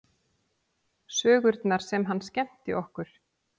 Sögurnar sem hann skemmti okkur